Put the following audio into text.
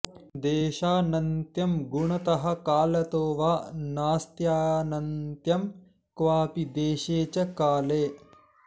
देशानन्त्यं गुणतः कालतो वा नास्त्यानन्त्यं क्वापि देशे च काले